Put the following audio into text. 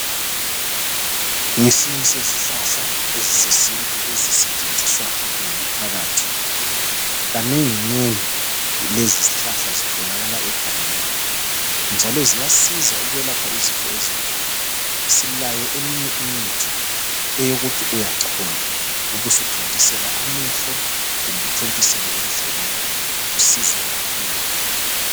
Ngesinye sezihlahla ezesintu ezisetshenziswa ngumphakathi kanengi nengi lezi zihlahla zitholakala egangeni njalo ziyasiza ukwelapha izifo ezinengi. Silayo eminye imithi eyokuthi uyachola ubusuthontisela amehlo kumbe uthontisele endlebeni kusize kakhulu.